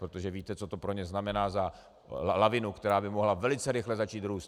Protože víte, co to pro ně znamená za lavinu, která by mohla velice rychle začít růst.